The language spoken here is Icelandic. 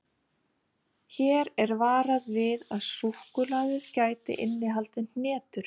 Hér er varað við að súkkulaðið gæti innihaldið hnetur.